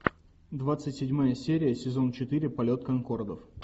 двадцать седьмая серия сезон четыре полет конкордов